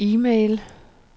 e-mail